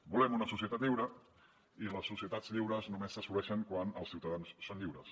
volem una societat lliure i les societats lliures només s’assoleixen quan els ciutadans són lliures